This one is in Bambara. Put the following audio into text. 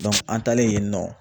an taalen yen nɔ